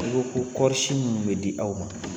U ko ko kɔɔrisi minnu bɛ di aw ma